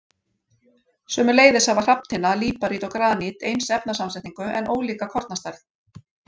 Sömuleiðis hafa hrafntinna, líparít og granít eins efnasamsetning en ólíka kornastærð.